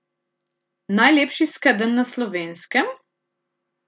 Najlepši skedenj na Slovenskem?